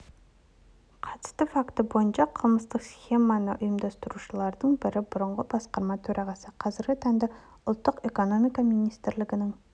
қатысты факті бойынша қылмыстық схеманы ұйымдастырушылардың бірі бұрынғы басқарма төрағасы қазіргі таңда ұлттық экономика министрлігінің